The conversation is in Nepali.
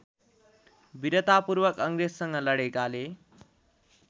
विरतापूर्वक अङ्ग्रेजसँग लडेकाले